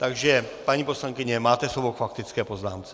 Takže paní poslankyně, máte slovo k faktické poznámce.